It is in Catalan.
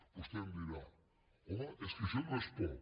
vostè em dirà home és que això no és poc